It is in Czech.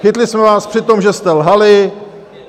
Chytli jsme vás při tom, že jste lhali.